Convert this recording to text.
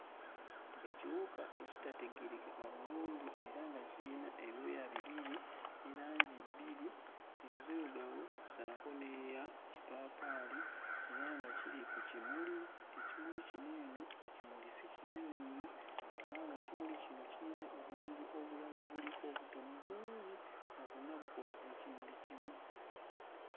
Ekiwuka ekitategeerekeka bulungi era nga kiyina ebyoya bibiri ne langi bbiri, enzirugavu ssaako n'eya kipaapaali era nga kiri ku kimuli ekimuli kino eno ekimuli si kinene nnyo kubanga ekimuli kino kiyina obumuli obulala obuliko obutono bungi nga bwonna bukola ekimuli kimu.